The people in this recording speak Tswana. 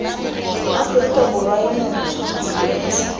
aforika borwa yo montšhwa biro